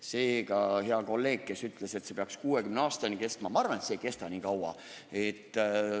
Seega ütlen heale kolleegile, kes ütles, et see peaks 2060. aastani kestma, et ma arvan, et see ei kesta nii kaua.